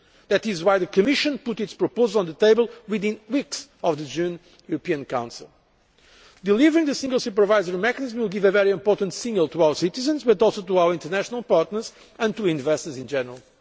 That is why the Commission put its proposals on the table within weeks of the June European Council. Delivering the single supervisory mechanism will give a very important signal to our citizens, but also to our international partners and to investors in general.